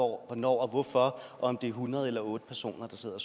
hvornår og hvorfor og om det er hundrede eller otte personer der sidder